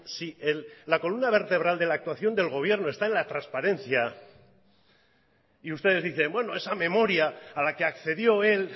si la columna vertebral de la actuación del gobierno está en la transparencia y ustedes dicen bueno esa memoria a la que accedió él